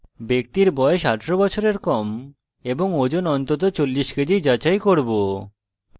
ব্যক্তির বয়স 18 বছরের কম এবং ওজন অন্তত 40kgs কেজি যাচাই করব